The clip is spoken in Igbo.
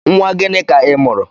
Nwa gịnị ka i mụrụ?